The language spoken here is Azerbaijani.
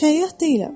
Səyyah deyiləm.